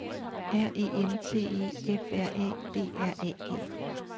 R E N T E F R A D R A G